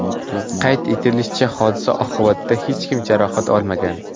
Qayd etilishicha, hodisa oqibatida hech kim jarohat olmagan.